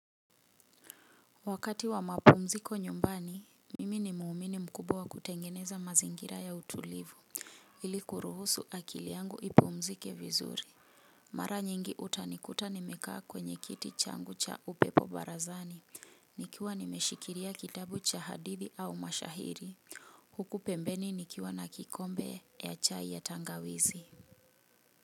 Wakati wa mapumziko nyumbani, mimi ni muumini mkubwa wa kutengeneza mazingira ya utulivu. Ili kuruhusu akili yangu ipumzike vizuri. Mara nyingi utanikuta nimekaa kwenye kiti changu cha upepo barazani. Nikiwa nimeshikilia kitabu cha hadithi au mashahiri. Huku pembeni nikiwa na kikombe ya chai ya tangawizi. Muziki.